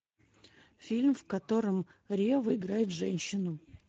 фильм в котором ревва играет женщину